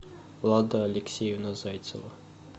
лада алексеевна зайцева